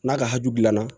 N'a ka hu bi na